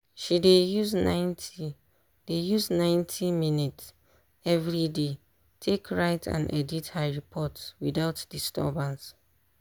she dey use ninety dey use ninety minutes everyday take write and edit her report without disturbance.